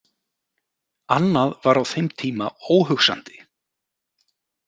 Annað var á þeim tíma óhugsandi.